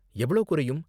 எவ்ளோ குறையும்?